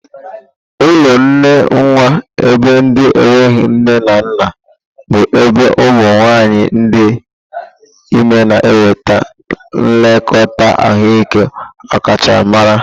Ụlọ nne nwa ebe ndị enweghi nne na nna bụ ebe ụmụ nwanyị dị ime na enweta nlekọta ahụike ọkachamara.